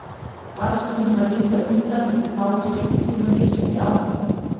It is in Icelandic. Varð stundum að líta undan í þau fáu skipti sem hann yrti á mig.